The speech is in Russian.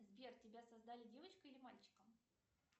сбер тебя создали девочкой или мальчиком